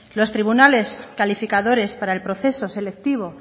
los tribunales calificadores para el proceso selectivo